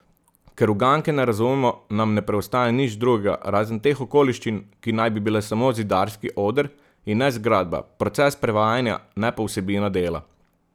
Ker uganke ne razumemo, nam ne preostane nič drugega razen teh okoliščin, ki naj bi bile samo zidarski oder, in ne zgradba, proces prevajanja, ne pa vsebina dela.